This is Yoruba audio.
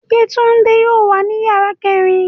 Yetunde yóò wa ni yara kẹrin